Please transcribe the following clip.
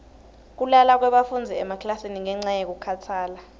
kulala kwebafundzi emaklasini ngenca yekukhatsala